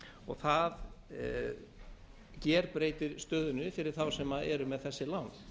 og það gerbreytir stöðunni fyrir þá sem eru með þessi lán